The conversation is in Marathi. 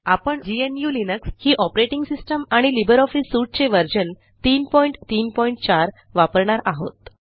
आपण ग्नू लिनक्स ही ऑपरेटिंग सिस्टम आणि लिब्रिऑफिस सूट चे व्हर्शन 334 वापरणार आहोत